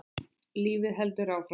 Lífið heldur áfram.